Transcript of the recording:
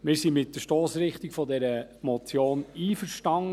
Wir sind mit der Stossrichtung dieser Motion einverstanden.